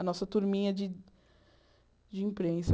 A nossa turminha de de imprensa.